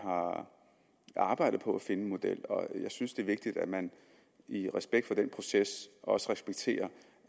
arbejdede på at finde en model og jeg synes at det er vigtigt at man i respekt for den proces også respekterer